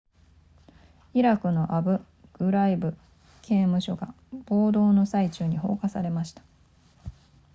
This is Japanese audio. イラクのアブグライブ刑務所が暴動の最中に放火されました